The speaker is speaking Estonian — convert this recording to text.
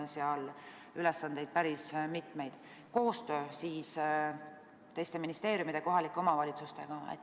Seega: koostöö teiste ministeeriumide ja kohalike omavalitsustega.